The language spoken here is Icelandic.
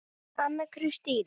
Anna Kristín